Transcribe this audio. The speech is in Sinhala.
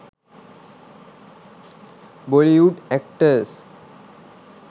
bollywood actors